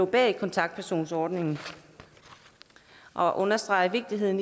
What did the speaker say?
bag kontaktpersonordningen og understreger vigtigheden